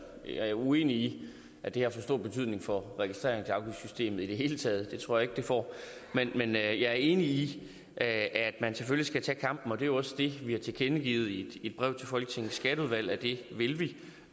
jeg er uenig i at det her får stor betydning for registreringsafgiftssystemet i det hele taget det tror jeg ikke det får men jeg er enig i at man selvfølgelig skal tage kampen og det er jo også det vi har tilkendegivet i et brev til folketingets skatteudvalg at vi vil vil